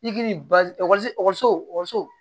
I k'i ni bal ekɔliso ekɔliso ekɔliso